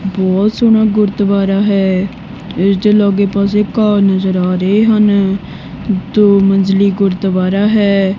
ਬਹੁਤ ਸੋਹਣਾ ਗੁਰਦੁਆਰਾ ਹੈ ਇਹਦੇ ਲਾਗੇ ਪਾਸੇ ਘਾ ਨਜ਼ਰ ਆ ਰਹੇ ਹਨ ਦੋ ਮੰਜਲੀ ਦੁਆਰਾ ਹੈ।